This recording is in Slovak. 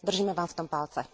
Držíme Vám v tom palce.